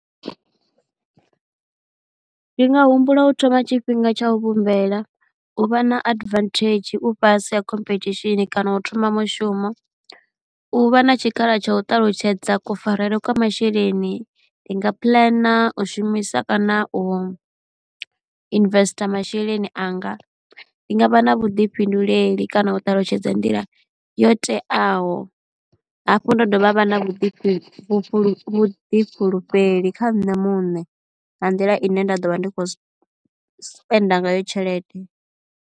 Ndi nga humbula u thoma tshifhinga tsha u vhumbela, u vha na advantage u fhasi ha khomphethishini kana u thoma mushumo. U vha na tshikhala tsha u ṱalutshedza kufarele kwa masheleni ndi nga puḽana u shumisa kana u investor masheleni anga. Ndi nga vha na vhuḓifhinduleli kana u ṱalutshedza nḓila yo teaho, hafhu nda dovha ha vha na vhuḓifhulufheli vhuḓifhulufheli kha nṋe muṋe nga nḓila ine nda ḓo vha ndi khou spender ngayo tshelede.